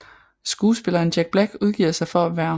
Skuespilleren Jack Black udgiver sig for at være Hr